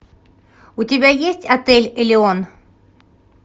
у тебя есть отель элеон